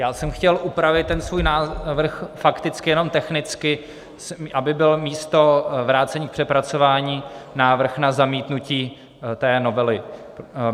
Já jsem chtěl upravit ten svůj návrh fakticky jenom technicky, aby bylo místo vrácení k přepracování návrh na zamítnutí té novely.